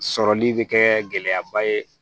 Sɔrɔli bɛ kɛ gɛlɛyaba ye